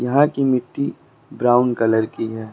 यहां की मिट्टी ब्राउन कलर की है।